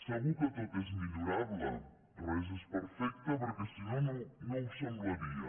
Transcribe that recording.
segur que tot és millorable res és perfecte perquè si no no ho semblaria